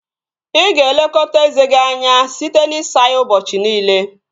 Ị ga-elekọta eze gị anya site n'isa ya ụbọchị niile